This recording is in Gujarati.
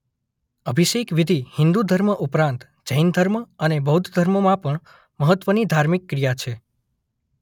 અભિષેક વિધિ હિંદુ ધર્મ ઉપરાંત જૈન ધર્મ અને બૌદ્ધ ધર્મમાં પણ મહત્વની ધાર્મિક ક્રિયા છે.